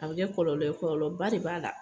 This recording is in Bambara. A bɛ kɛ kɔlɔlɔ, kɔlɔlɔba de b'a la.